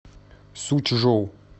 сучжоу